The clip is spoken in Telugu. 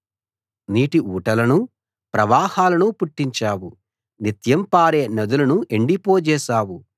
నీటి ఊటలను ప్రవాహాలను పుట్టించావు నిత్యం పారే నదులను ఎండిపోజేశావు